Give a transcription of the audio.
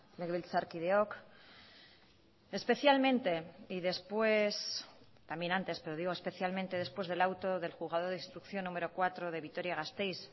legebiltzarkideok especialmente y después también antes pero digo especialmente después del auto del juzgado de instrucción número cuatro de vitoria gasteiz